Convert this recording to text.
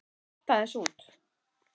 Ég datt aðeins út.